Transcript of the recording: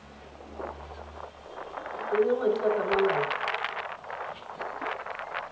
o tsenya madi ka tlhamalalo